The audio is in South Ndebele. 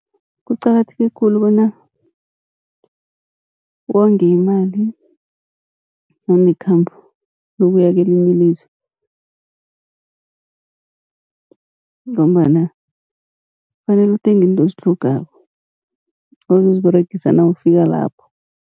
Kuqakatheke khulu bona wonge imali nawunekhambo lokuya kelinye ilizwe, ngombana kufanele uthenge izinto ozitlhogako ozoziberegisa nawufika lapho.